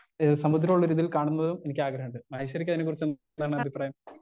speaker 1 ഏ സമുദ്രള്ളൊരു ഇതിൽ കാണുന്നതും എനിക്കാഗ്രഹണ്ട് മഹേശ്വരിക്കതിനെ കുറിച്ച് എന്താണഭിപ്രായം